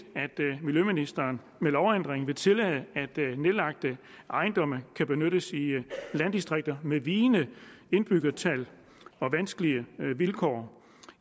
at miljøministeren med lovændringen vil tillade at nedlagte ejendomme kan benyttes i landdistrikter med vigende indbyggertal og vanskelige vilkår